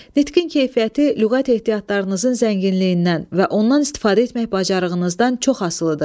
Nitqin keyfiyyəti lüğət ehtiyatlarınızın zənginliyindən və ondan istifadə etmək bacarığınızdan çox asılıdır.